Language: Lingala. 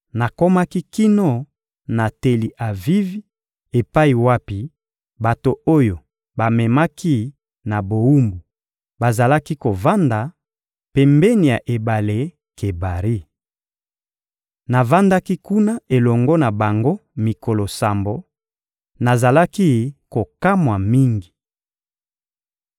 Nakomaki kino na Teli-Avivi epai wapi bato oyo bamemaki na bowumbu bazalaki kovanda, pembeni ya ebale Kebari. Navandaki kuna elongo na bango mikolo sambo; nazalaki kokamwa mingi.